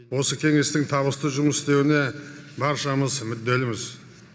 осы кеңестің табысты жұмыс істеуіне баршамыз мүдделіміз